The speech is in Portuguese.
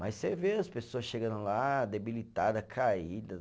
Mas você vê as pessoas chegando lá, debilitada, caída.